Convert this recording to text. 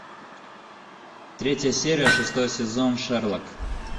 третья серия шестой сезон шерлок